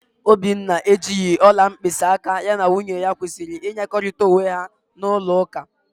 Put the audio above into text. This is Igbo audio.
Obinna ejighị ọla mkpịsịaka ya na nwunye ya kwesịrị ịnyekọrịta onwe ha n'ụlọụka.